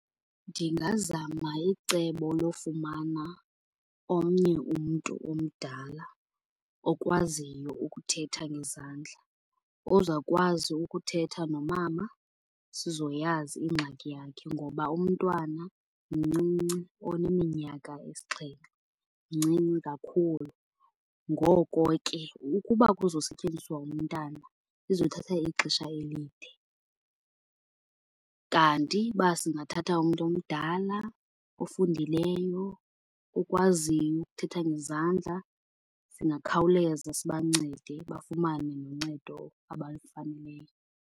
Ndingazama icebo lofumana omnye umntu omdala okwaziyo ukuthetha ngezandla ozokwazi ukuthetha nomama sizoyazi ingxaki yakhe ngoba umntwana mncinci oneminyaka esixhenxe, mncinci kakhulu. Ngoko ke ukuba kuzosetyenziswa umntana kuzothatha ixesha elide. Kanti uba singathatha umntu omdala, ofundileyo, okwaziyo ukuthetha ngezandla singakhawuleza sibancede bafumane noncedo abalifaneleyo.